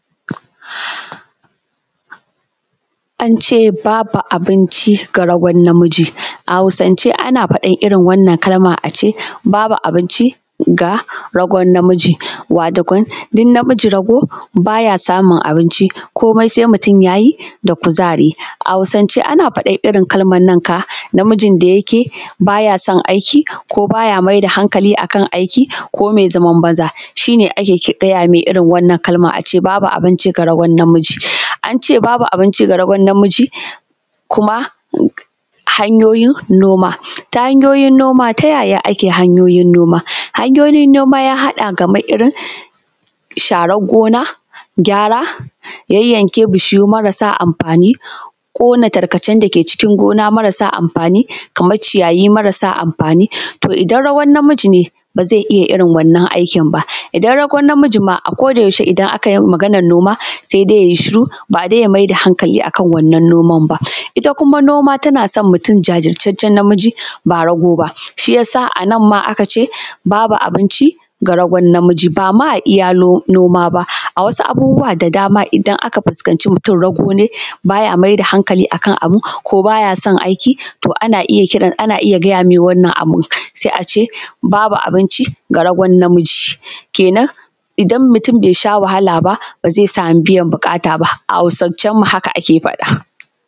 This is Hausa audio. Ance babu abinci ga ragon namiji, a hausance ana faɗan irin wannan kalma a ce babu abinci ga ragon namiji waatokon duk namiji rago baya samun abinci koomai sai mutum yayi da kuzari. A hausace ana faɗan irin kalman nan ka namijin da yake baya son aiki ko baya maida hankali akan aiki ko mai zaman banza, shi ne ake gaya mai wannan kalman ace babu abinci ga ragon namiji, ance babu abinci ga ragon namiji kuma hanyoyin noma, ta hanyoyin noma, ta yaya ake hanyoyin noma? Hanyoyin noma ya haɗa kamar irin sharan gona gyara yayyanke bishiyu marasa amfaani ƙona tarkacen dake cikin gona marasa amfaani kamar ciyayi marasa amfaani, to idan ragon namiji ne baa zai iya waɗannan aikin baa, idan ragon namiji maa a-ko-da-yaushe idan aka yawan maganan noma sai dai yayi shiru baa dai ya maida hankali akan wannan noman baa. Ita kuma noma tana son mutum jaajirtaccen namiji baa rago ba shiyasa anan maa aka ce babu abinci ga ragon namiji baa maa a iya noma a baa a wasu abubuwa da dama idan aka fuskanci mutum rago ne baa ya maida hankali akan abu ko baa ya son aiki, to ana iya kira ana iya gaya mai wannan abu sai ace babu abinci ga ragon namiji kenan idan mutum bai sha wahala baa ba zai samu biyan buƙata baa, a hausacen mu haka aka faɗa